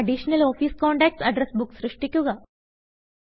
additional office contacts address book സൃഷ്ടിക്കുക